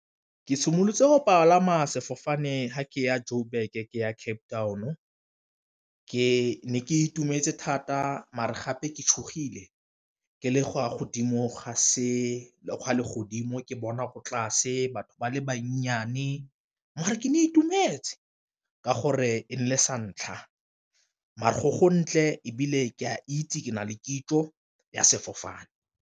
Ke simolotse go palama sefofane fa ke ya Joburg ke ya Cape Town ke ne ke itumetse thata mare gape ke tshogile, ke le kwa godimo ga le godimo ke bona ko tlase batho ba le bannyane. Mare ke ne ke itumetse ka gore e ne e le santlha, mare go go ntle ebile ke a itse ke na le kitso ya sefofane.